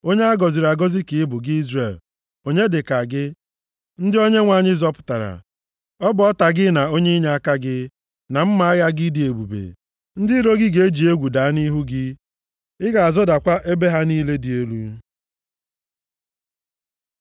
Onye a gọziri agọzi ka ị bụ, gị Izrel, onye dị ka gị ndị Onyenwe anyị zọpụtara? Ọ bụ ọta gị na onye inyeaka gị, na mma agha gị dị ebube. Ndị iro gị ga-eji egwu daa nʼihu gị, ị ga-azọdakwa ebe ha niile dị elu.”